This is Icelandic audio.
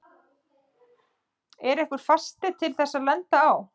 Er einhver fasti til þess að lenda á?